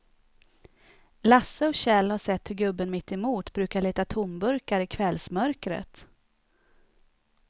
Lasse och Kjell har sett hur gubben mittemot brukar leta tomburkar i kvällsmörkret.